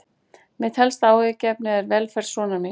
Mitt helsta áhyggjuefni er velferð sonar míns.